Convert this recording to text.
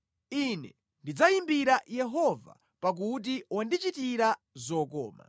Ine ndidzayimbira Yehova pakuti wandichitira zokoma.